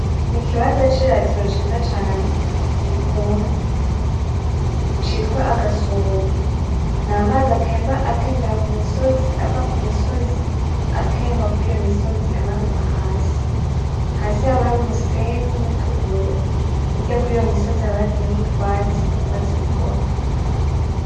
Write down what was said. N'ikibanza cy'iratiro ciza cane kikundwa citwa agasomo. N'amazi atemba atembera kumisozi ava kumisozi atemba kuriyo kumisozi amanuka hasi. Hasi haba hari umusenyi nutubuye hirya kuriyo misozi haba hateyeho utwatsi, utwatsi dutoto.